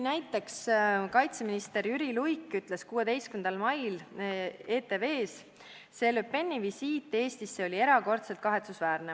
Näiteks ütles kaitseminister Jüri Luik 16. mail ETV-s: "See Le Peni visiit Eestisse oli erakordselt kahetsusväärne.